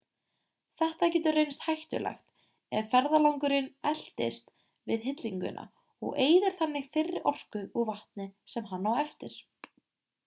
þetta getur reynst hættulegt ef ferðalangurinn eltist við hillinguna og eyðir þannig þeirri orku og vatni sem hann á eftir